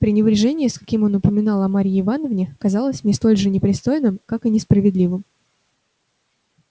пренебрежение с каким он упоминал о марье ивановне казалось мне столь же непристойным как и несправедливым